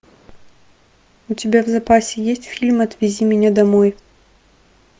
у тебя в запасе есть фильм отвези меня домой